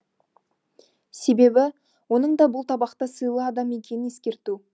себебі оның да бұл табақта сыйлы адам екенін ескерту